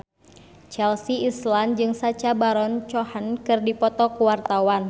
Chelsea Islan jeung Sacha Baron Cohen keur dipoto ku wartawan